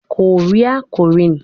Korea- Korean